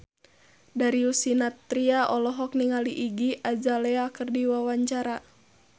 Darius Sinathrya olohok ningali Iggy Azalea keur diwawancara